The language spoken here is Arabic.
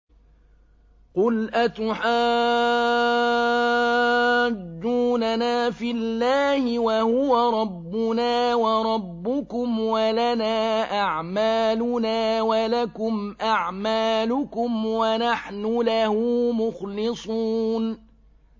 قُلْ أَتُحَاجُّونَنَا فِي اللَّهِ وَهُوَ رَبُّنَا وَرَبُّكُمْ وَلَنَا أَعْمَالُنَا وَلَكُمْ أَعْمَالُكُمْ وَنَحْنُ لَهُ مُخْلِصُونَ